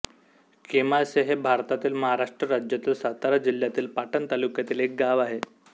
केमासे हे भारतातील महाराष्ट्र राज्यातील सातारा जिल्ह्यातील पाटण तालुक्यातील एक गाव आहे